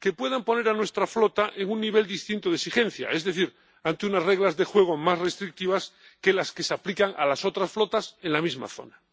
que puedan poner a nuestra flota en un nivel distinto de exigencia, es decir, ante unas reglas de juego más restrictivas que las que se aplican a las otras flotas en la misma zona.